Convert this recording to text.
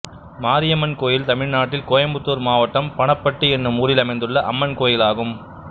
மாரியம்மன் கோயில் தமிழ்நாட்டில் கோயம்புத்தூர் மாவட்டம் பணப்பட்டி என்னும் ஊரில் அமைந்துள்ள அம்மன் கோயிலாகும்